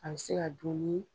An bi se ka dun ni